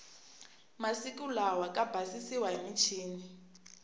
masiku lawa ka basisiwa hi michini